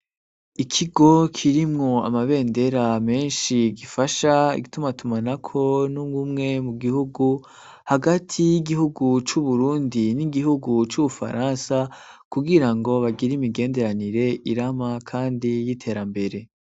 Ikigo kirimwo amabendera menshi gifasha igitumatumanako n'unwo umwe mu gihugu hagati y'igihugu c'Uburundi n'igihugu c'Ubufaransa kugira ngo bagira imigenderanire irama, kandi y'iterambere.